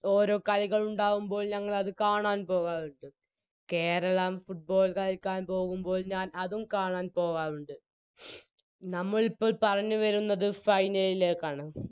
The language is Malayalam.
ഓരോ കളികൾ ഉണ്ടാവുമ്പോൾ ഞങ്ങളത് കാണാൻ പോവാറുണ്ട് കേരളം Football കളിക്കാൻ പോകുമ്പോൾ ഞാൻ അതും കാണാൻ പോവാറുണ്ട് നമ്മളിപ്പോൾ പറഞ്ഞുവരുന്നത് Final ലിലേക്കാണ്